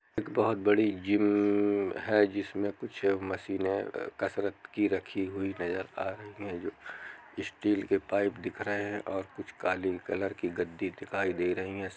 एक बड़ी जिम हैजिसमे कुछ मशीने अ कसरत की रखी हुई नजर आ रही हैं जो स्टील के पाइप दिख रहे हैं और कुछ काले कलर गद्दी दिखाई दे रही हैं।